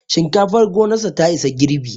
Shinkafar gonarsa ta isa girbi